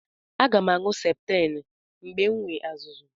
Aga m aṅụ septriim mgbe m nwee azụzụ̀.